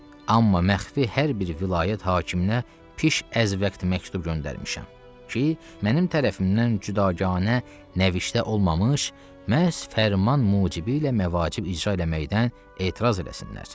Amma məxfi hər bir vilayət hakiminə piş əz-vəqti məktub göndərmişəm ki, mənim tərəfimdən cüdaqanə nəvişdə olmamış, məhz fərman mucibi ilə məvacib icra eləməkdən etiraz eləsinlər.